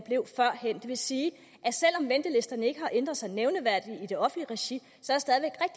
vil sige at ikke har ændret sig nævneværdigt i det offentlige regi